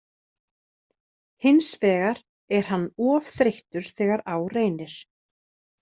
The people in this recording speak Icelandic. Hins vegar er hann of þreyttur þegar á reynir.